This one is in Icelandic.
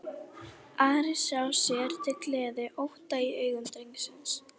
Ari sá sér til gleði ótta í augum drengsins.